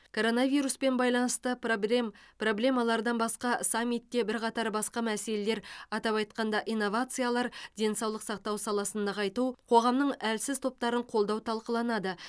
коронавируспен байланысты пробрем проблемалардан басқа саммитте бірқатар басқа мәселелер атап айтқанда инновациялар денсаулық сақтау саласын нығайту қоғамның әлсіз топтарын қолдау талқыланады